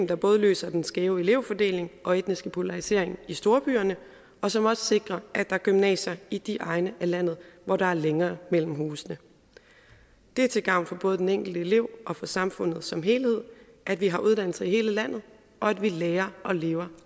der både løser den skæve elevfordeling og etniske polarisering i storbyerne og som også sikrer at der er gymnasier i de egne af landet hvor der er længere mellem husene det er til gavn for både den enkelte elev og for samfundet som helhed at vi har uddannelser i hele landet og at vi lærer og lever